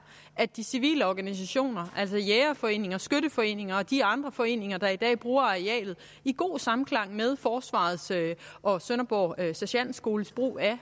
at de civile organisationer altså jægerforeninger skytteforeninger og de andre foreninger der i dag bruger arealet i god samklang med forsvarets og sønderborg sergentskoles brug af